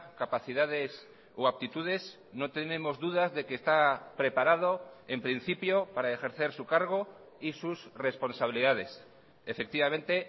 capacidades o actitudes no tenemos dudas de que está preparado en principio para ejercer su cargo y sus responsabilidades efectivamente